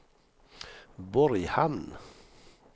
Borghamn